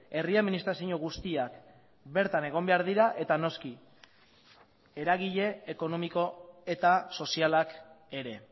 herri administrazio guztiak bertan egon behar dira eta noski eragile ekonomiko eta sozialak ere